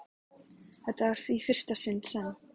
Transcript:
Þetta var í fyrsta sinn sem